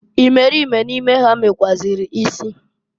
Imerime n'ime ha mekwuazịrị isi.